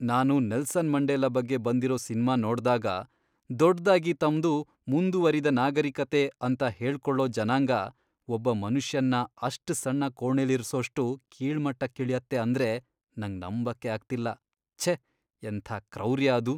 ನಾನು Nelson Mandela ಬಗ್ಗೆ ಬಂದಿರೋ ಸಿನ್ಮಾ ನೋಡ್ದಾಗ, ದೊಡ್ದಾಗಿ ತಮ್ದು "ಮುಂದುವರಿದ ನಾಗರಿಕತೆ" ಅಂತ ಹೇಳ್ಕೊಳೋ ಜನಾಂಗ ಒಬ್ಬ ಮನುಷ್ಯನ್ನ ಅಷ್ಟ್ ಸಣ್ಣ ಕೋಣೆಲಿರ್ಸೋಷ್ಟು ಕೀಳ್ಮಟ್ಟಕ್ಕಿಳ್ಯತ್ತೆ ಅಂದ್ರೆ ನಂಗ್ ನಂಬಕ್ಕೇ ಆಗ್ತಿಲ್ಲ. ಛೇ! ಎಂಥ ಕ್ರೌರ್ಯ ಅದು!